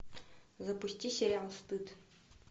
запусти сериал стыд